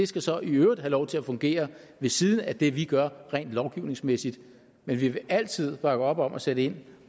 skal så i øvrigt have lov til at fungere ved siden af det vi gør rent lovgivningsmæssigt men vi vil altid bakke op om at sætte ind